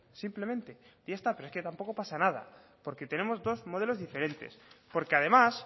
simplemente y ya está pero es que tampoco pasa nada porque tenemos dos modelos diferentes porque además